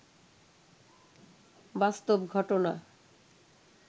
বাস্তব ঘটনা